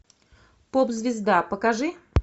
поп звезда покажи